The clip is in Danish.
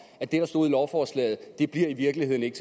at det der stod i lovforslaget i virkeligheden ikke